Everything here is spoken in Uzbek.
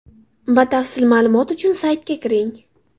Batafsil ma’lumot uchun saytiga kiring!